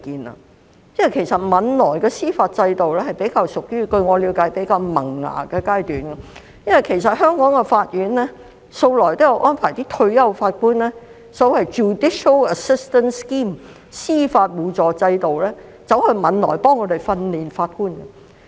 據我了解，汶萊的司法制度尚處於比較萌芽的階段，因為香港法院向來也有安排退休法官經所謂的 judicial assistance scheme 前往汶萊協助他們訓練法官。